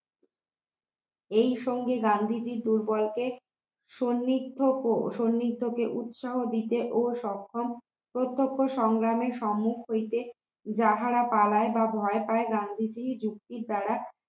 এইসঙ্গে গান্ধীজি দুর্বলকে সন্নিগ্ধ সন্নিগ্ধ কে উৎসাহ দিতে ও সক্ষম প্রত্যক্ষ সংগ্রামের সম্মুখ হইতে যাহারা পালায় বা ভয় পায় গান্ধীজীর যুক্তির দ্বারা